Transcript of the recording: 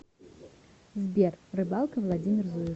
сбер рыбалка владимир зуев